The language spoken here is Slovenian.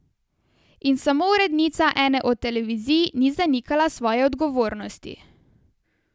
In samo urednica ene od televizij ni zanikala svoje odgovornosti.